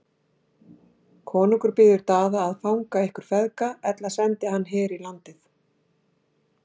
Konungur býður Daða að fanga ykkur feðga, ella sendi hann her í landið.